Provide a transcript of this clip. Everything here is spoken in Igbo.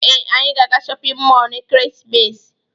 Ee, anyị ga-aga shọpịn mọọlụ n'ekeresimesi a.